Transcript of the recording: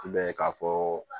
I b'a ye k'a fɔ